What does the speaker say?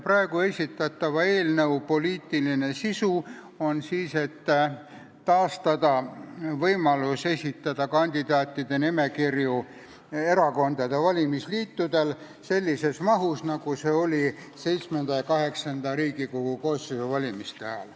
Praegu esitatava eelnõu poliitiline sisu on taastada võimalus esitada erakondade valimisliitudel kandidaatide nimekirju sellises mahus, nagu see oli VII ja VIII Riigikogu koosseisu valimiste ajal.